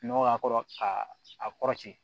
Nɔgɔ k'a kɔrɔ ka a kɔrɔti